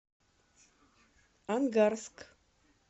ангарск